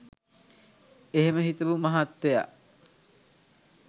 එහෙම හිතපු මහත්තය